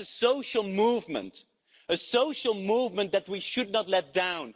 That is a social movement, a social movement that we should not let down.